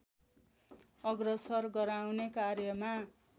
अग्रसर गराउने कार्यमा